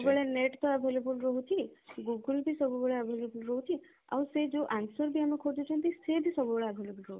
ସବୁବେଳେ net ତ available ରହୁଛି google ବି ସବୁବେଳେ available ରହୁଛି ଆଉ ସେ ଯୋଉ answer ବି ଆମେ ଖୋଜୁଛନ୍ତି ସେ ବି ସବୁବେଳେ available ରହୁଛି